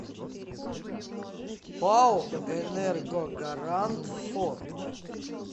пао энергогарант фото